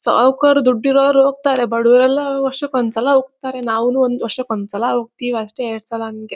ಸಾಹುಕರು ದುಡ್ಡ ಇರೋರು ಹೋಗತರೆ ಬಡವರೆಲ್ಲಾ ವರ್ಷಕ್ಕೆ ಒಂದ್ ಸಲ ಹೋಗತರೆ ನಾವುನು ವರ್ಷಕ್ಕೆ ಒಂದ್ ಸಲ ಹೋಗತ್ತೀವಿ ಅಷ್ಟೇ ಎರಡ ಸಲ ಹಂಗೆ.